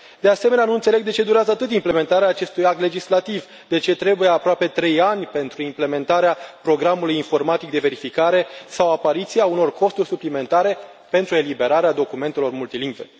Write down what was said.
De asemenea, nu înțeleg de ce durează atât implementarea acestui act legislativ, de ce sunt necesari aproape trei ani pentru implementarea programului informatic de verificare sau apariția unor costuri suplimentare pentru eliberarea documentelor multilingve.